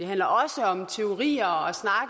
handler også om teorier